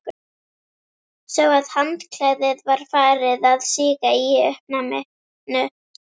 Sá að handklæðið var farið að síga í uppnáminu.